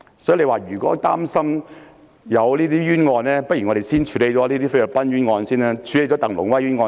所以，如果議員擔心有冤案，我們不如先處理菲律賓的鄧龍威冤案。